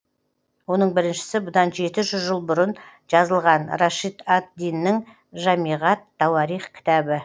оның біріншісі бұдан жеті жүз жыл бұрын жазылған рашид ад диннің жамиғ ат тауарих кітабы